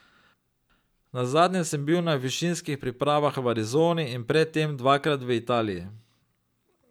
Nazadnje sem bil na višinskih pripravah v Arizoni in pred tem dvakrat v Italiji.